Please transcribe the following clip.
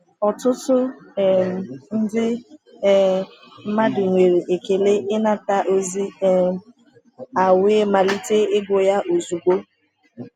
Ọtụtụ um ndị um mmadụ nwere ekele ịnata ozi um a wee malite ịgụ ya ozugbo.